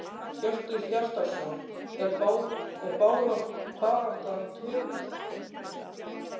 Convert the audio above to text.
Hjörtur Hjartarson: Er baráttan töpuð?